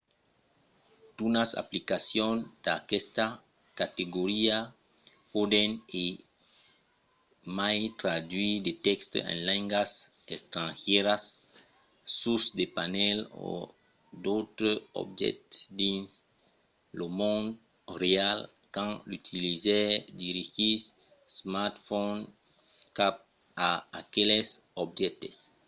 d'unas aplicacions d'aquesta categoria pòdon e mai traduire de tèxtes en lengas estrangièras sus de panèls o d'autres objèctes dins lo mond real quand l'utilizaire dirigís l'smartphone cap a aqueles objèctes